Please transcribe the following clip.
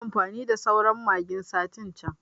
Nayi amfani da sauran magin satin can